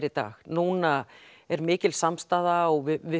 í dag núna er mikil samstaða og við